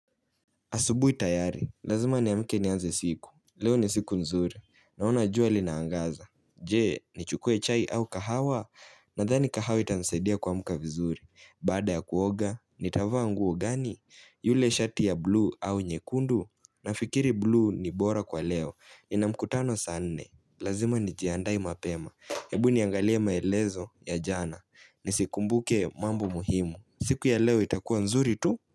Asubuhi tayari, lazima niamke nianze siku, leo ni siku nzuri, naona jua linaangaza Je, nichukue chai au kahawa, nadhani kahawa itanisadia kuamka vizuri Baada ya kuoga, nitavaa nguo gani, yule shati ya blue au nyekundu Nafikiri blue ni bora kwa leo, ninamkutano saa nne, lazima nijiandae mapema hebu niangalie maelezo ya jana, ni sikumbuke mambo muhimu siku ya leo itakuwa nzuri tu?